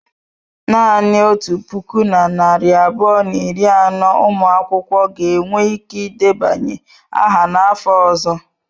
Naanị otu puku na narị abụọ na iri anọ ụmụ akwụkwọ ga-enwe ike ịdebanye aha n'afọ ọzọ.